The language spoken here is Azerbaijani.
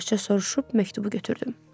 Yavaşca soruşub məktubu götürdüm.